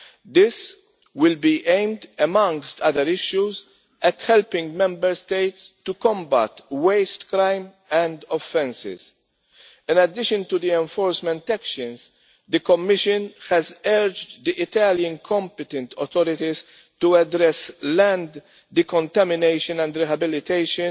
This will be aimed, amongst other issues, at helping Member States to combat waste crime and offences. In addition to the enforcement actions, the Commission has urged the Italian competent authorities to address land decontamination and rehabilitation